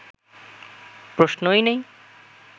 প্রশ্নই নেই